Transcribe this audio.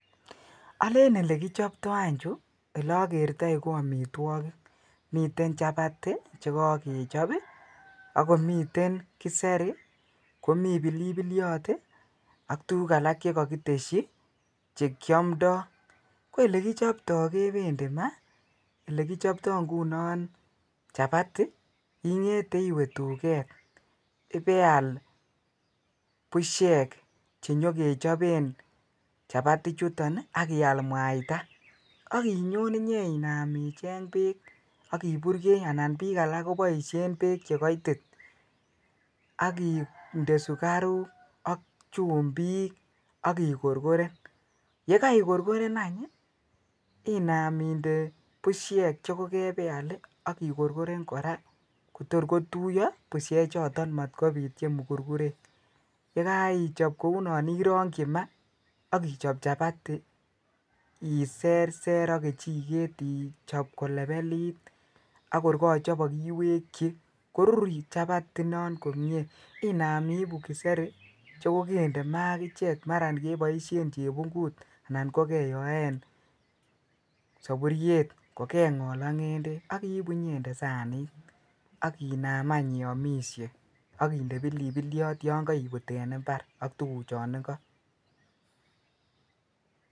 Oleen olekichopto any chuu olokertoi ko amitwokik, miten chapati chekokechop ak komiten kiseri komii pilipiliot ak tukuk alak chekokitesyi chekiomndo, ko elekichopto kependi maa, elekichopto ng'unon chapati ing'ete iwe duket ibeal bushek chenyokechopen chapati chuton ak ial mwaita ak inyon inyenam icheng beek ak iburkei anan biik alak koboishen beek chekoitit ak indee sukaruk ak chumbik ak ikorkoren, yekoi korkoren any inaam inde bushek chekokebeal ak ikorkoren koraa Kotor kotuyo bushechoton moot kobiit chemukurkurek yekoichop kounon irongyi maa ak ichop chapati iserser ak kechiket ichop kolepelit ak kor kochopok iwekyi korur chapati inon komnye inam ibuu kiseri chekokende maa akichek maran keboishen chebungut anan ko keyoen soburiet ko keng'ol ak ng'endek ak ibuu inyende sanit ak inaam any iomishe ak indee pilipiliot yon koibut en imbar ak tukuchon ikoo.